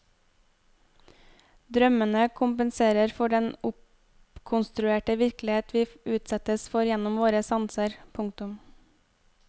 Drømmene kompenserer for den oppkonstruerte virkelighet vi utsettes for gjennom våre sanser. punktum